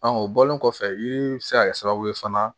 o bɔlen kɔfɛ i bɛ se ka kɛ sababu ye fana